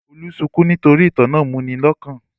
Olú sunkún nítorí ìtàn náà múni lọ́kàn?